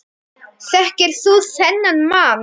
Þekkir þú þennan mann?